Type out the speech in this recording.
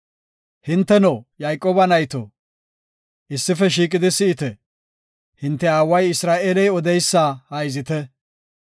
“Hinteno Yayqooba nayto, issife shiiqidi si7ite; hinte aaway Isra7eeley odeysa hayzite.